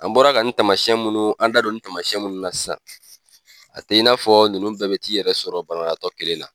An bɔra ka nin tamayɛn minnu, an da don nin tamayɛn minnu na sisan a tɛ n'a fɔ ninnu bɛɛ bi t'i yɛrɛ sɔrɔ banabaatɔ kelen na.